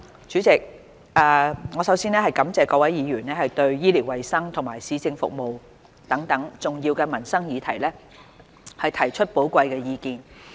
主席，我首先感謝各位議員對醫療衞生及市政服務等重要的民生議題提出寶貴的意見。